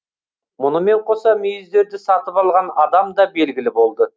мұнымен қоса мүйіздерді сатып алған адам да белгілі болды